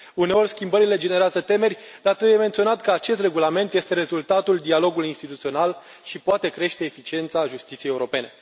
Uneori, schimbările generează temeri, dar trebuie menționat că acest regulament este rezultatul dialogului instituțional și poate crește eficiența justiției europene.